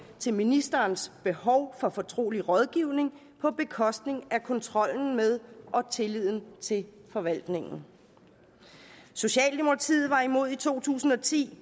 til ministerens behov for fortrolig rådgivning på bekostning af kontrollen med og tilliden til forvaltningen socialdemokratiet var imod i to tusind og ti